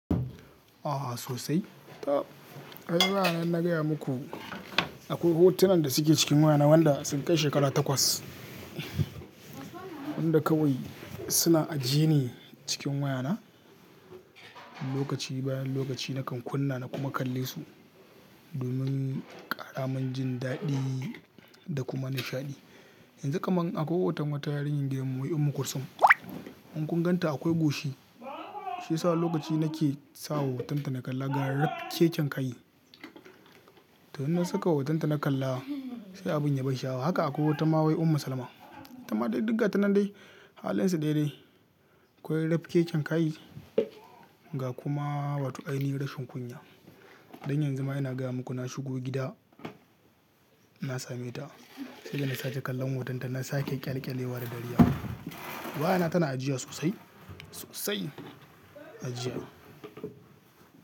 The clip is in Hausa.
A'a sosai. Tab ai baya nan na gaya maku akwai hotunan da suke cikin wayana wanda sun kai shekara takwas. Wanda kawai suna ajiye ne cikin wayana. Lokaci bayan lokaci nakan kunna na kuma kalle su domin ƙaramin jin daɗi da kuma nishaɗi. Yanzu kaman akwai hoton wata yarinyar gidanmu wai ummu Kursum. In kunganta akwai goshi shi yasa wani lokaci nake sa hotonta na kalla ga raf keken kai. To in na saka hotonta na kalla sai abin ya ban sha'awa. Haka akwai wata ma wai ummu Salma. Ita ma dai duk gata nan dai halin su daya dai. Akwai rafkeken kai ga kuma wato ainihin rashin kunya. Dan yanzu ma ina gaya muku na shigo gida na same ta. Sai da na sake kallon hotonta na sake ƙyalƙyalewa da dariya. Wayana tana ajiya sosai, sosai ajiya.